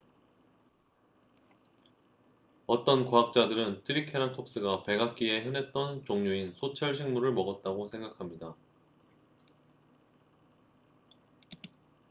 어떤 과학자들은 트리케라톱스가 백악기에 흔했던 종류인 소철 식물을 먹었다고 생각합니다